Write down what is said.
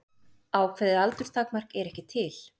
Ákveðið aldurstakmark er ekki til.